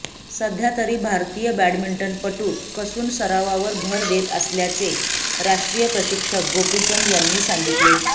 सध्या तरी भारतीय बॅडमिंटनपटू कसून सरावावर भर देत असल्याचे राष्ट्रीय प्रशिक्षक गोपीचंद यांनी सांगितले